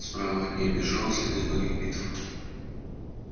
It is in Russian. справа от нее бежал следы многих битв